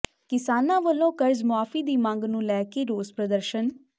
ਕਿਸਾਨਾਂ ਵੱਲੋਂ ਕਰਜ਼ ਮੁਆਫ਼ੀ ਦੀ ਮੰਗ ਨੂੰ ਲੈ ਕੇ ਰੋਸ ਪ੍ਰਦਰਸ਼ਨ